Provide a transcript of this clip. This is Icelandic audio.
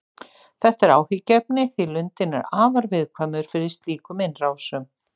Þetta er áhyggjuefni því lundinn er afar viðkvæmur fyrir slíkum innrásum.